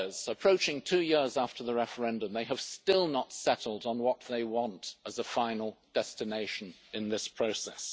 Approaching two years after the referendum, they have still not settled on what they want as a final destination in this process.